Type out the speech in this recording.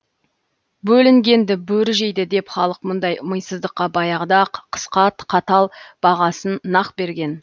бөлінгенді бөрі жейді деп халық мұндай мисыздыққа баяғыда ақ қысқа қатал бағасын нақ берген